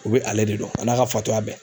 U bɛ ale de don a n'a ka fatɔya bɛɛ